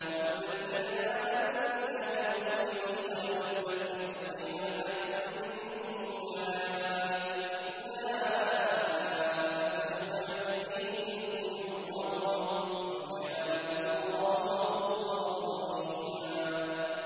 وَالَّذِينَ آمَنُوا بِاللَّهِ وَرُسُلِهِ وَلَمْ يُفَرِّقُوا بَيْنَ أَحَدٍ مِّنْهُمْ أُولَٰئِكَ سَوْفَ يُؤْتِيهِمْ أُجُورَهُمْ ۗ وَكَانَ اللَّهُ غَفُورًا رَّحِيمًا